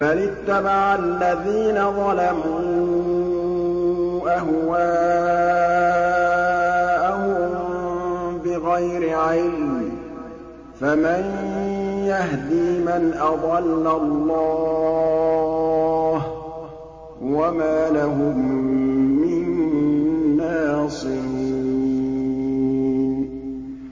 بَلِ اتَّبَعَ الَّذِينَ ظَلَمُوا أَهْوَاءَهُم بِغَيْرِ عِلْمٍ ۖ فَمَن يَهْدِي مَنْ أَضَلَّ اللَّهُ ۖ وَمَا لَهُم مِّن نَّاصِرِينَ